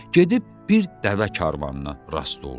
Gedib bir dəvə karvanına rast oldu.